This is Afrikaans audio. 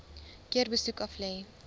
keer besoek aflê